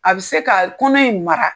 A bɛ se ka kɔnɔ in mara.